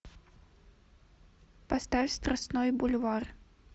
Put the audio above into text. поставь страстной бульвар